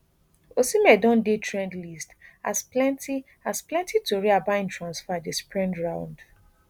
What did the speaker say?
osimhen don dey di trend list as plenti as plenti tori about im transfer dey spread round